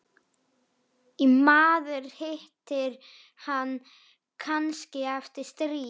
Maður hittir hann kannski eftir stríð.